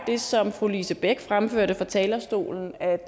det som fru lise bech fremførte fra talerstolen er